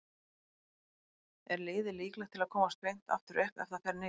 Er liðið líklegt til að komast beint aftur upp ef það fer niður?